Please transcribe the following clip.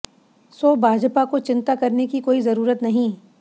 सो भाजपा को चिंता करने की कोई जरूरत नहीं